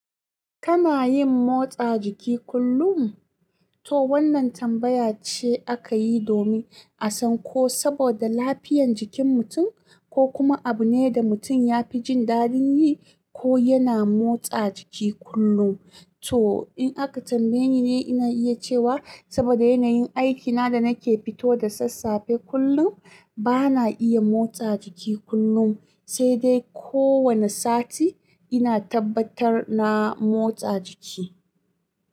Kana yin motsa jiki kullum? To wannan tambaya ce aka yi domin a san ko saboda lafiyan jikin mutum ko kuma abu ne da mutum ya fi jin daɗin yi ko yana motsa jiki kullum. To in aka tambaye ni ne, ina iya cewa saboda yanayin aikina da nake fito da sassafe kullum, bana iya motsa jiki kullum, sai dai kowane sati ina tabbatar na motsa jiki.